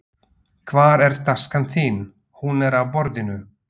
Hvar er taskan þín. Hún er á borðinu